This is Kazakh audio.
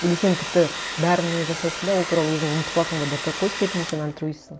или сен тіпті бәріне жасайсың да ол туралы өзің ұмытып қаласың ба до такой степени сен альтруистсің